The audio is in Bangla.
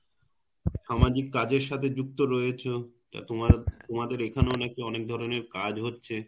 সামাজিক কাজের সাথে যুক্ত রয়েছো তো তোমাদের এখানেও নাকি অনেক ধরনের কাজ হচ্ছে